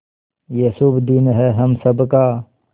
ये शुभ दिन है हम सब का